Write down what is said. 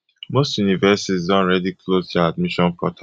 most universities don already close dia admission portal